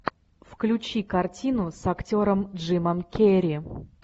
включи картину с актером джимом керри